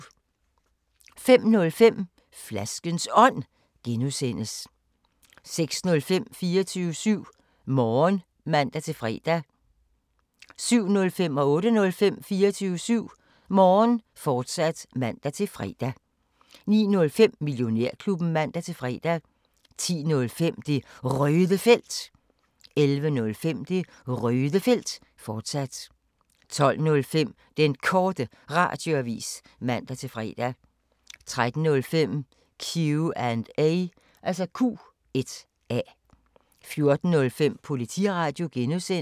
05:05: Flaskens Ånd (G) 06:05: 24syv Morgen (man-fre) 07:05: 24syv Morgen, fortsat (man-fre) 08:05: 24syv Morgen, fortsat (man-fre) 09:05: Millionærklubben (man-fre) 10:05: Det Røde Felt 11:05: Det Røde Felt, fortsat 12:05: Den Korte Radioavis (man-fre) 13:05: Q&A 14:05: Politiradio (G)